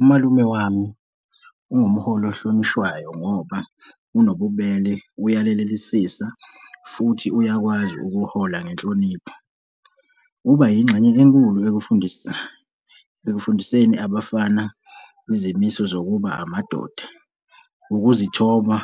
Umalume wami ungumholi ohlonishwayo, ngoba onobubele, uyalelisisa futhi uyakwazi ukuhola ngenhlonipho. Uba yingxenye enkulu ekufundiseni abafana izimiso zokuba amadoda, ukuzithoba,